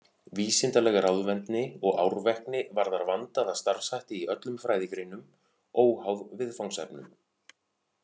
Vísindaleg ráðvendni og árvekni varðar vandaða starfshætti í öllum fræðigreinum, óháð viðfangsefnum.